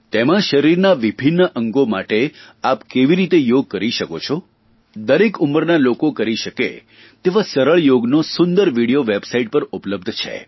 તેમાં શરીરના વિભિન્ન અંગો માટે આપ કેવી રીતે યોગ કરી શકો છો દરેક ઉંમરના લોકો કરી શકે તેવા સરળ યોગનો સુંદર વિડીયો વેબસાઇટ પર ઉપલબ્ધ છે